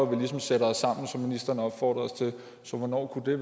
vi ligesom sætter os sammen som ministeren opfordrer os til så hvornår kunne